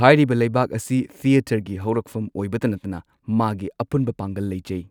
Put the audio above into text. ꯍꯥꯏꯔꯤꯕ ꯂꯩꯕꯥꯛ ꯑꯁꯤ ꯊꯦꯇꯔꯒꯤ ꯍꯧꯔꯛꯐꯝ ꯑꯣꯏꯕꯇ ꯅꯠꯇꯅ ꯃꯥꯒꯤ ꯑꯄꯨꯟꯕ ꯄꯥꯡꯒꯜ ꯂꯩꯖꯩ꯫